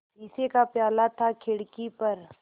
शीशे का प्याला था खिड़की पर